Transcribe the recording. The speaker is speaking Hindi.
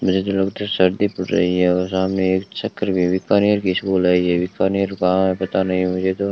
मेरे सर्दी पड़ रही है और हमें एक चक्कर में बीकानेर की स्कूल आई है बीकानेर कहां है पता नहीं मुझे तो।